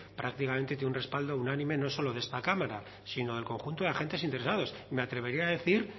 prácticamente tiene un respaldo unánime no solo de esta cámara sino del conjunto de agentes interesados me atrevería a decir